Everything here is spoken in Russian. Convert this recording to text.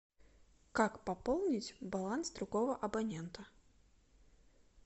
как пополнить баланс другого абонента